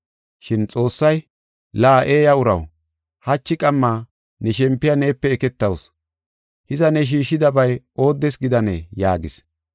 “Shin Xoossay, ‘La, eeya uraw, hachi qamma ne shempiya neepe eketawusu. Hiza, ne shiishidabay ooddes gidanee?’ yaagis.